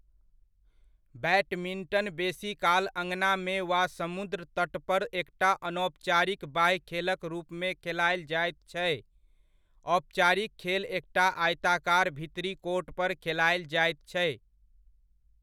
Badminton बेसीकाल अँगनामे वा समुद्र तट पर एकटा अनौपचारिक बाह्य खेलक रूपमे खेलायल जायत छै, औपचारिक खेल एकटा आयताकार भीतरी कोर्ट पर खेलायल जाइत छै।